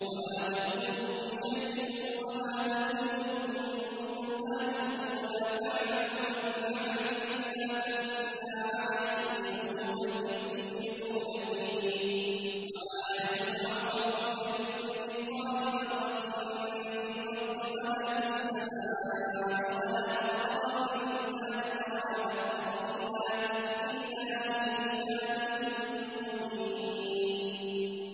وَمَا تَكُونُ فِي شَأْنٍ وَمَا تَتْلُو مِنْهُ مِن قُرْآنٍ وَلَا تَعْمَلُونَ مِنْ عَمَلٍ إِلَّا كُنَّا عَلَيْكُمْ شُهُودًا إِذْ تُفِيضُونَ فِيهِ ۚ وَمَا يَعْزُبُ عَن رَّبِّكَ مِن مِّثْقَالِ ذَرَّةٍ فِي الْأَرْضِ وَلَا فِي السَّمَاءِ وَلَا أَصْغَرَ مِن ذَٰلِكَ وَلَا أَكْبَرَ إِلَّا فِي كِتَابٍ مُّبِينٍ